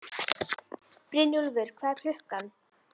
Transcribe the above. Brynjúlfur, hvað er klukkan?